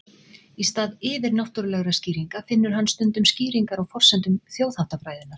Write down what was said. Í stað yfirnáttúrulegra skýringa finnur hann stundum skýringar á forsendum þjóðháttafræðinnar.